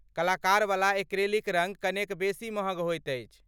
कलाकारवला acrylic रङ्ग कनेक बेसी महग होइत अछि।